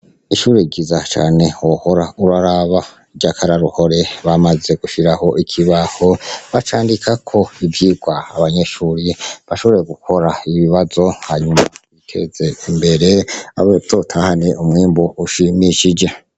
Ishure ryiza cane wohora uraraba ry'akaroruhore, bamaze gushiraho ikibaho bacandikako ivyigwa abanyeshure bashobora gukora ibibazo hanyuma biteze imbere, bazotahane umwimbu ushimishije.